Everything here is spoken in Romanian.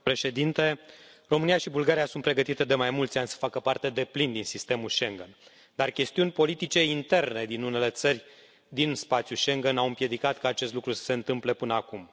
Domnule președinte, România și Bulgaria sunt pregătite de mai mulți ani să facă parte deplin din sistemul Schengen, dar chestiuni politice interne din unele țări din spațiul Schengen au împiedicat ca acest lucru să se întâmplă până acum.